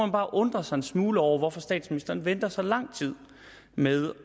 bare undre sig en smule over hvorfor statsministeren venter så lang tid med